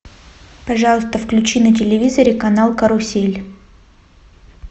пожалуйста включи на телевизоре канал карусель